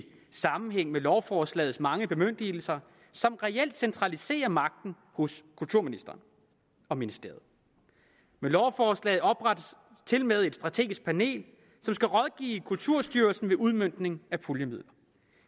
sammenhæng med lovforslagets mange bemyndigelser som reelt centraliserer magten hos kulturministeren og ministeriet med lovforslaget oprettes tilmed et strategisk panel som skal rådgive kulturstyrelsen ved udmøntning af puljemidler